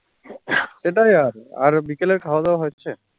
এটাই আর আর বিকেলের খাওয়া দাওয়া হচ্ছে